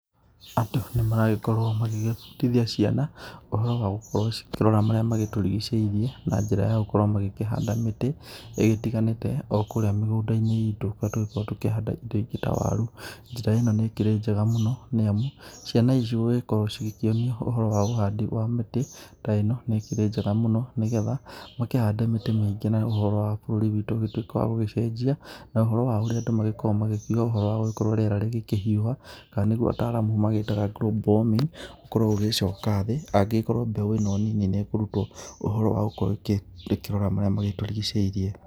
Andũ nĩ maragĩkorwo magĩgĩbundithia ciana ũhoro wa gũkorwo cikĩrora marĩa magĩtũrigicĩirie, na njĩra ya gũkorwo magĩkĩhanda mĩtĩ ĩgĩtiganĩte o kũrĩa mĩgũnda-inĩ itũ kũrĩa tũkoragwo tũkĩhanda indo ingĩ ta waru. Njĩra ĩno nĩ ĩkĩrĩ njega mũno nĩ amu, ciana ici gũgĩkorwo cigĩkĩonio ũhoro wa ũhandi wa mĩtĩ ta ĩno nĩ ĩkĩrĩ njega mũno nĩ getha, makĩhande mĩtĩ mĩingĩ mũno na ũhoro wa bũrũri witũ ũgĩtuĩke wa gũgĩcenjia, na ũhoro wa ũrĩa andũ magĩkoragwo magĩkiuga ũhoro wa gũgĩkorwo rĩera rĩgĩkĩhiũha kana nĩguo ataramu magĩtaga global warming ũkorwo ũgĩcoka thĩ angĩgĩkorwo mbeũ ĩno nini nĩ ĩkĩrutwo ũhoro wa gũkorwo ĩkĩrora marĩa magĩtũrigicĩirie.